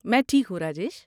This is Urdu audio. میں ٹھیک ہوں، راجیش۔